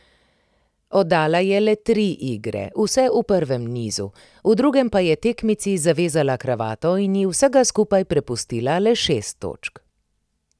Oddala je le tri igre, vse v prvem nizu, v drugem pa je tekmici zavezala kravato in ji vsega skupaj prepustila le šest točk.